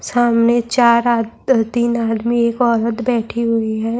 سامنے چار عد تین ادمی ایک عورت بیٹھی ہوئی ہے-